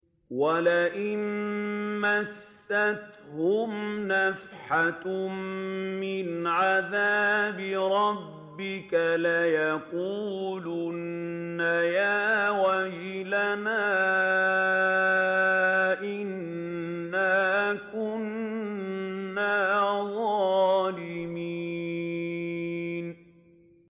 وَلَئِن مَّسَّتْهُمْ نَفْحَةٌ مِّنْ عَذَابِ رَبِّكَ لَيَقُولُنَّ يَا وَيْلَنَا إِنَّا كُنَّا ظَالِمِينَ